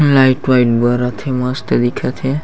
Light white बरथ हे मस्त दिखथ हे।